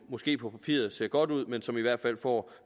måske på papiret ser godt ud men som i hvert fald får